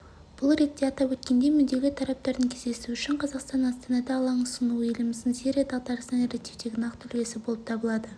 бұл ретте атап өткендей мүдделі тараптардың кездесуі үшін қазақстанның астанада алаң ұсынуы еліміздің сирия дағдарысын реттеудегі нақты үлесі болып табылады